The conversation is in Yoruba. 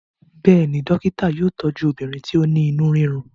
béèni dókítà yóò tọju obìnrin ti o ní inú rirun.